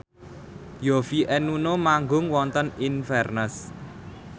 Yovie and Nuno manggung wonten Inverness